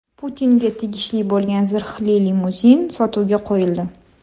Putinga tegishli bo‘lgan zirhli limuzin sotuvga qo‘yildi.